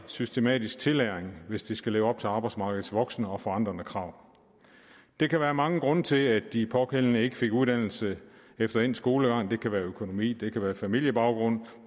systematisk tillæring hvis de skal leve op til arbejdsmarkedets voksende og forandrede krav der kan være mange grunde til at de pågældende ikke fik en uddannelse efter endt skolegang det kan være økonomi det kan være familiebaggrund